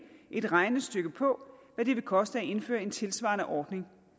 et regnestykke på hvad det vil koste at indføre en tilsvarende ordning